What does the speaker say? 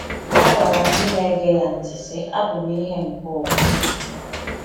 O gwara ndị na-ege ya ntị sị: Abụ m ìhè nke ụwa.